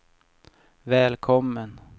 välkommen